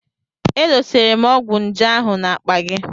E dosara m ọgwụ nje ahụ n'akpa gị.